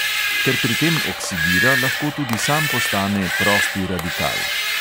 Ker pri tem oksidira, lahko tudi sam postane prosti radikal.